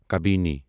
قبیٖنی